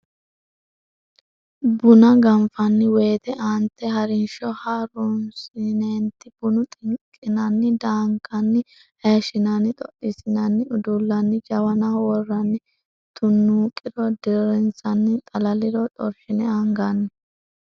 Buna ganfanni woyte aante ha rinsho ha runsineeti buna xinqinanni daankanni hayishshinanni xoxxiissinanni udullanni jawanaho worranni tunnuuqiro dirrinsanni xalaliro xorshine anganni.